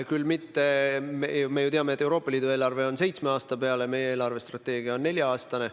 Samas me teame, et Euroopa Liidu eelarve koostatakse seitsmeks aastaks, meie eelarvestrateegia neljaks aastaks.